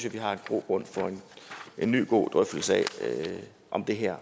at vi har grobund for en ny god drøftelse af om det her